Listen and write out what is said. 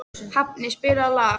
Hafni, spilaðu lag.